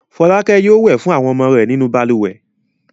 Fọlákẹ́ yóò wẹ̀ fún àwọn ọmọ rẹ̀ nínú balùwẹ̀.